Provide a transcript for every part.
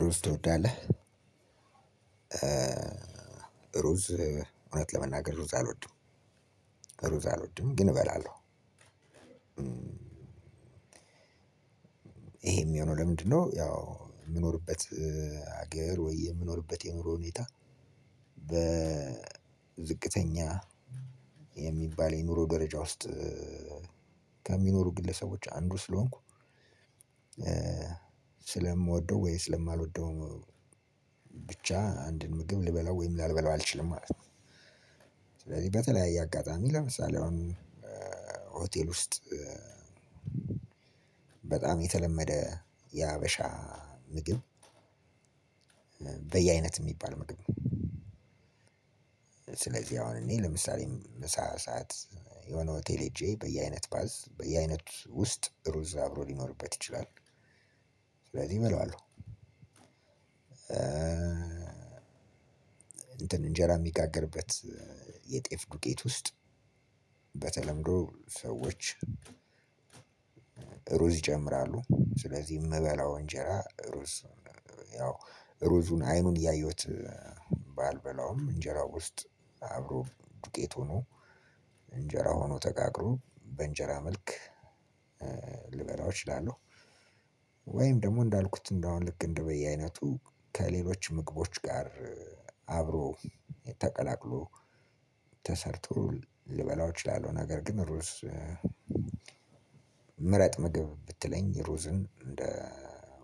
ሩዝ ትወዳለህ? ሩዝ እውነት ለመናገር ሩዝ አልወድም። ሩዝ አልወድም ግን እበላለሁ። ይሄም የሚሆነው ለምንድነው? ያው የምኖርበት ሀገር ወይ የምኖርበት የኑሮ ሁኔታ በዝቅተኛ የሚባል የኑሮ ደረጃ ውስጥ ከሚኖሩ ግለሰቦች አንዱ ስለሆንኩ ስለምወደው ወይ ስለማልወደው ብቻ አንድን ምግብ ልበላው ወይም ላልበላው አልችልም ማለት ነው። ስለዚህ በተለያየ አጋጣሚ ለምሳሌ አሁን ሆቴል ውስጥ በጣም የተለመደ የሃበሻ ምግብ በየአይነት የሚባል ምግብ። ስለዚህ አሁን እኔ ለምሳሌ ምሳ ሰዓት የሆነ ሆቴል ሄጄ በየአይነት ባዝ በየአይነት ውስጥ ሩዝ አብሮ ሊኖርበት ይችላል ስለዚህ እበላዋለሁ። እንትን እንጀራ የሚጋግርበት የጤፍ ዱቄት ውስጥ በተለምዶ ሰዎች ሩዝ ይጨምራሉ ስለዚህ መበላው እንጀራ ሩዝ ያው ሩዙን አይኑን እያየሁት ባልበላውም እንጀራው ውስጥ አብሮ ዱቄት ሆኖ እንጀራ ሆኖ ተጋግሮ በእንጀራ መልክ ልበላው እችላለሁ። ወይም ደግሞ እንዳልኩት እንደአሁን እንደው በየአይነቱ ከሌሎች ምግቦች ጋር አብሮ ተቀላቅሎ ተሰርቶ ልበላው እችላለሁ። ነገር ግን ሩዝ ምረጥ ምግብ ብትለኝ ሩዝን እንደ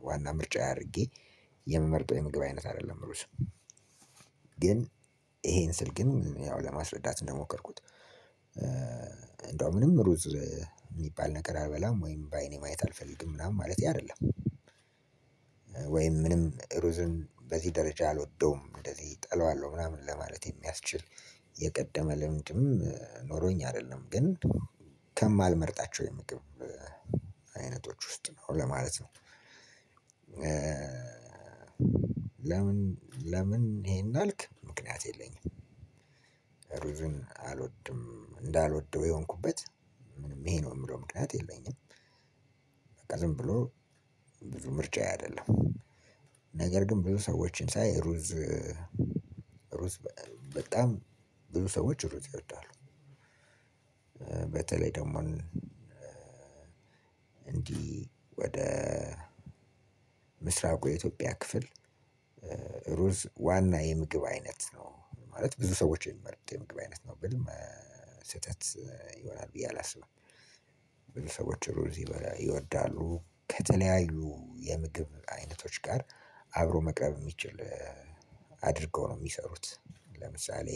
ዋና ምርጫ አድርጌ የምመርጠው የምግብ አይነት አይደለም ሩዝ። ግን ይሄን ስል ግን ያው ለማስረዳት እንደሞከርኩት እደው ምንም ሩዝ ሚባል ነገር አልበላም ወይም በአይኔ ማየት አልፈልግም ማለት አይደልም። ወይም ምንም ሩዝ በዚ ደረጃ አልወደውም እንደዚ ተላዋለሁ ለማለት የሚያስችል የቀደመ ልምድም ኖሮኝ አይደለም ግን ከማልመርጣቸው የምግብ አይነቶች ውስጥ ነው ለማለት ነው። ለምን ለምን ይሄን አልክ ምክንያት የለኝም? ሩዝን አልወድም እንዳልወደው የሆንኩበት ይሄ ነው የምለው ምክንያት የለኝም። በቃ ዝም ብሎ ብዙ ምርጫዬ አይደለም ነገር ግን ብዙ ሰዎችን ሳይ ሩዝ ሩዝ በጣም ብዙ ሰዎች ሩ ይወዳሉ። በተለይ ደግሞ እንዲህ ወደ ምስራቁ የኢትዮጵያ ክፍል ሩዝ ዋና የምግብ አይነት ነው ማለት ብዙ ሰዎች የሚመርጥ የምግብ አይነት ነው። ብል ስህተት ይሆናል ብዬ አላስብም። ብዙ ሰዎች ሩዝ ይወዳሉ ከተለያዩ የምግብ አይነቶች ጋር አብሮ መቅረብ የሚችል አድርገው ነው ሚሰሩት። ለምሳሌ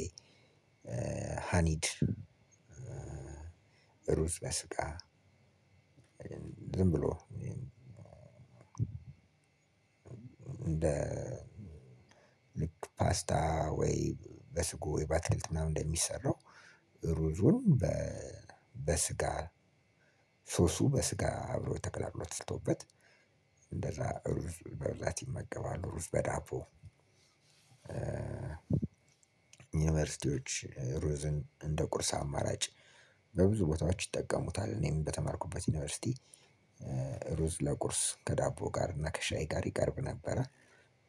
ሃኒድ ሩዝ በስጋ ዝም ብሎ እንደ ልክ ፓስታ ወይ በስጎ ወይ ባትክልት ምናምን እንደሚሰራው። ሩዙን በስጋ ሶሱ በስጋ አብሮ ተቅላልሎ ትሰርቶበት እንደዛ ሩዝ በብዛት ይመገባሉ ሩዝ በዳቦ። ዩኒቨርሲቲዎች ሩዝን እንደ ቁርስ አማራጭ በብዙ ቦታዎች ይጠቀሙታል። እኔም በተማርኩበት ዩኒቨርሲቲ ሩዝ ለቁርስ ከዳቦ ጋር እና ከሻይ ጋር ይቀርብ ነበረ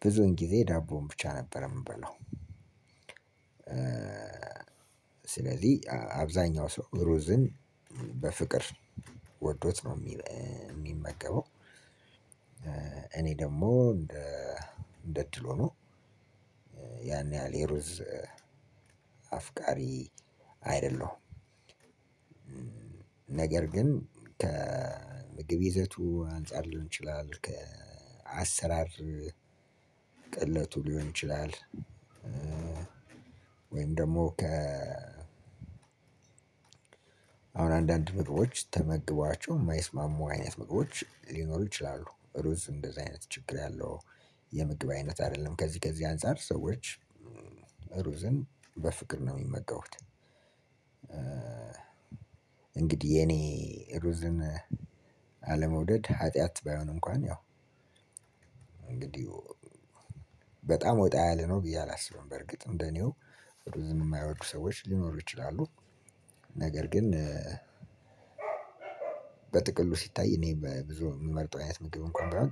ብዙን ጊዜ ዳቦውን ብቻ ነበረ የምበለው። ስለዚህ አብዛኛው ሰው ሩዝን በፍቅር ወዶት ነው የሚመገበው። እኔ ደግሞ እንደ እድል ሆኖ ያን ያህል የሩዝ አፍቃሪ አይደለሁም። ነገር ግን ከምግብ ይዘቱ አንፃር ሊሆን ይችላል ከአሰራር ቅለቱ ሊሆን ይችላል። ወይም ደግሞ ከ አሁን አንዳንድ ምግቦች ተመግቧቸው የማይስማሙ አይነት ምግቦች ሊኖሩ ይችላሉ ሩዝ እንደዚህ አይነት ችግር ያለው የምግብ አይነት አይደለም። ከዚህ ከዚህ አንፃር ሰዎች ሩዝን በፍቅር ነው የሚመገቡት። እንግዲህ የኔ ሩዝን አለመውደድ ኃጢአት ባይሆን እንኳን ያው እንግዲህ በጣም ወጣ ያለ ነው ብዬ አላስብም በርግጥ እንደኔው ሩዝን የማይወዱ ሰዎች ሊኖሩ ይችላሉ። ነገር ግን በጥቅሉ ሲታይ እኔ በብዙ የምመርጠው አይነት ምግብ እንኳን ባይሆን ጥሩ ነው።